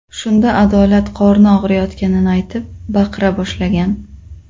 Shunda Adolat qorni og‘riyotganini aytib, baqira boshlagan.